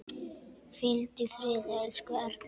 Hvíldu í friði, elsku Erla.